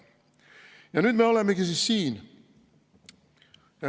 " Ja nüüd me olemegi siis siin.